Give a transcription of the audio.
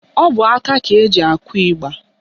Ọbọaka ka eji akụ ịgba